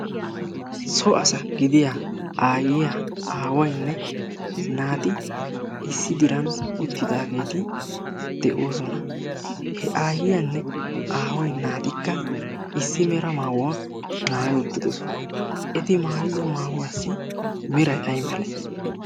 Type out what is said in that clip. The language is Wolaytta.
so asa gidiya aayyiya aawainne naati issi diran uttidaageeti de'oosona. he aayyiyaanne aawai naatikka issi mera maawuwaa maayi uttidosona eti maayido maahuwaassi miray ay male?